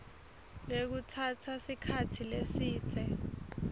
lekutsatsa sikhatsi lesidze